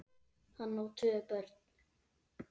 Hann á tvö börn.